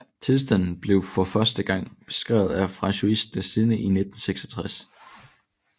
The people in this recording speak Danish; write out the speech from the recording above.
Tilstanden blev for første gang beskrevet af François Dessertenne i 1966